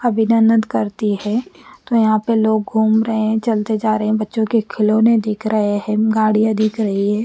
अभिम्नानादन करती है और यहाँ पर लोग घूम रहे है चलते जा रहे है बच्चो के खिलोने दिख रहे है गाडिया दिख रही है।